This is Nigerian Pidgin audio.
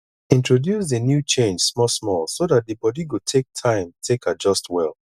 introduce di new change small small so dat di body go take time take adjust well